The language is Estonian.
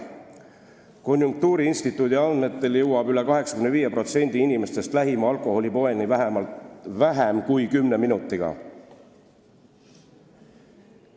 Konjunktuuriinstituudi andmetel jõuab üle 85% inimestest lähima alkoholipoeni vähem kui 10 minutiga.